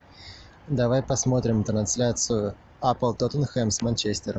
давай посмотрим трансляцию апл тоттенхэм с манчестером